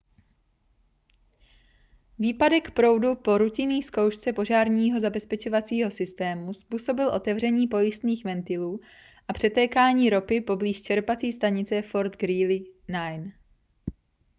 výpadek proudu po rutinní zkoušce požárního zabezpečovacího systému způsobil otevření pojistných ventilů a přetékání ropy poblíž čerpací stanice fort greely 9